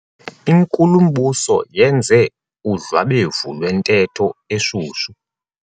Inkulumbuso yenze udlwabevu lwentetho eshushu.